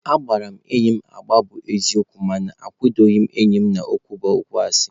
Agbara m enyi egbe bụ eziokwu mana anwudoro m enyi n'ụkwụ bụ okwu asị